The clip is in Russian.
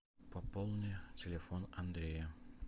пополни телефон андрея